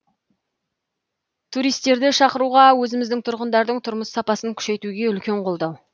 туристерді шақыруға өзіміздің тұрғындардың тұрмыс сапасын күшейтуге үлкен қолдау